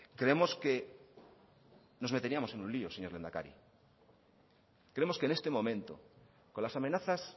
creemos que nos meteríamos en un lío señor lehendakari creemos que en este momento con las amenazas